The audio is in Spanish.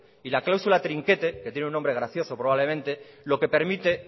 y la cláusula trinquete que tiene un nombre gracioso probablemente lo que permite